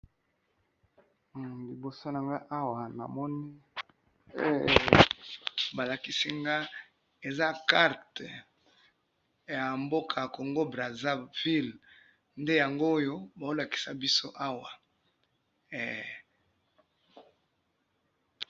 humm liboso nanga awa namoni heee balakisi nga eza carte ya mboka ya congo-brazaville nde yangoyo bazolakisa biso awa hee.